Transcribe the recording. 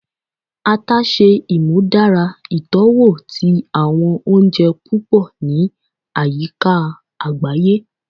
Ata ṣe imudara itọwo ti awọn ounjẹ pupọ ni ayika agbaye